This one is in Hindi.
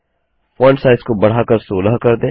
फॉन्ट साइज़ को बढ़ाकर 16 कर दें